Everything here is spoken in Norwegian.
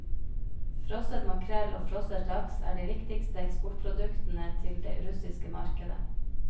Frosset makrell og frosset laks er de viktigste eksportproduktene til det russiske markedet.